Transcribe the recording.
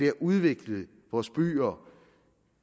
at udvikle vores byer